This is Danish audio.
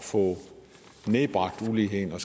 få nedbragt uligheden og